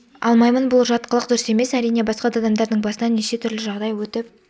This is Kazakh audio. алмаймын бұл жат қылық дұрыс емес әрине басқа да адамдардың басынан неше түрлі жағдай өтіп